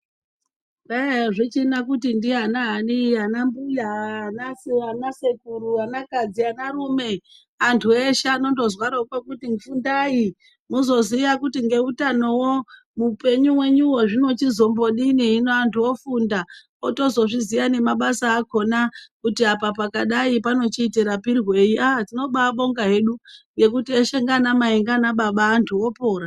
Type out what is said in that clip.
Kwai azvichina kuti ndianani anambuya anasekuru anakadzi anarume antu eshe anondozwaroko kuti fundai muzoziya kuti ngeutanowo upenyu hwenyuhwo zvinozmbodini hino antu ofunda otozozviziya nemabasa akona kuti apa pakadai panochiti rapirwei aah tinoba abonga hedu ngekuti eshe nganamai nganababa antu opora.